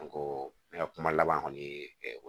An ko ne ka kuma laban kɔni ye